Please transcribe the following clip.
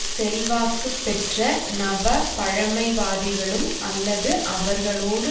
செல்வாக்கு பெற்ற நவபழமைவாதிகளும் அல்லது அவர்களோடு